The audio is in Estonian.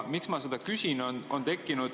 Miks ma seda küsin?